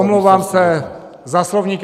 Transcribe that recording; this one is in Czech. Omlouvám se za slovník.